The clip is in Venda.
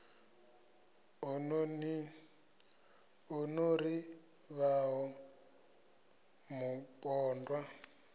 o no ḓi vhaho mupondwa